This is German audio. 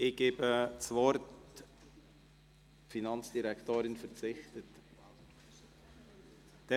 Die Regierungsrätin verzichtet auf das Wort.